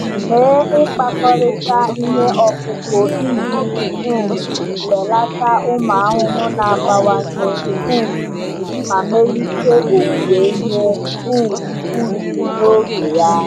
Mee ịkpakọrịta ihe ọkụkụ iji um belata ụmụ ahụhụ na-abawanye um ma melite owuwe ihe um ubi n’oge ya.